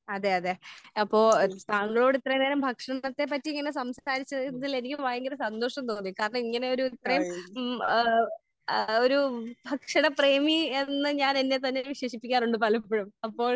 അതെ അതെ അതെ അപ്പോൾ താങ്കളോട് ഇത്രയും നേരം ഭക്ഷണത്തെ പറ്റി ഇങ്ങനെ സംസാരിച്ചതിൽ എനിക്ക് ഭയങ്കര സന്തോഷം തോന്നി. കാരണം ഇങ്ങനെ ഒരു ഇത്രയും ഹ്മ് ഏഹ് ആഹ് ഒരു ഭക്ഷണ പ്രേമി എന്ന് ഞാൻ എന്നെ തന്നെ വിശേഷിപ്പിക്കാറുണ്ട് പലപ്പഴും. അപ്പോൾ